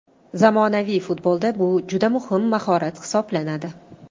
Zamonaviy futbolda bu juda muhim mahorat hisoblanadi.